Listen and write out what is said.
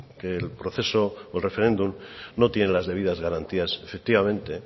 que el proceso o el referéndum no tiene las debidas garantías efectivamente